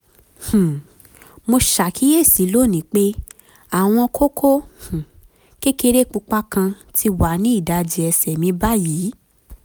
um mo ṣàkíyèsí lónìí pé àwọn kókó um kékeré pupa kan ti wà ní ìdajì ẹsẹ̀ mi báyìí